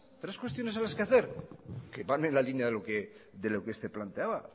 tres cuestiones a los que hacer que van en la línea de lo que se planteaba